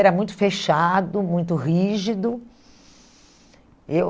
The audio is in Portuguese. era muito fechado, muito rígido. Eu